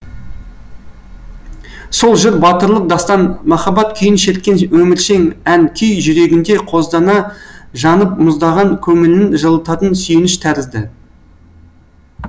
сол жыр батырлық дастан махаббат күйін шерткен өміршең ән күй жүрегінде қоздана жанып мұздаған көңілін жылытатын сүйеніш тәрізді